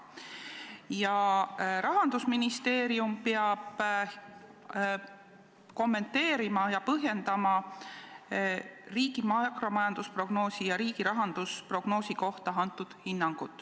Ja Rahandusministeerium peab kommenteerima ja põhjendama riigi makromajandusprognoosi ja riigi rahandusprognoosi kohta antud hinnangut.